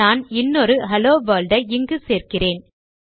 நான் இன்னொரு hello world ஐ இங்கு சேர்க்கிறேன்